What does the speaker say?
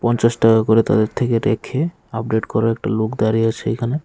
পঞ্চাশ টাকা করে তাদের থেকে রেখে আপডেট করা একটা লোক দাঁড়িয়ে আছে এখানে।